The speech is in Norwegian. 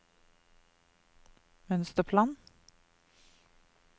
mønsterplan